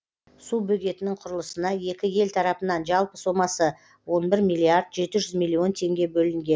су бөгетінің құрылысына екі ел тарапынан жалпы сомасы он бір миллиард жеті жүз миллион теңге бөлінген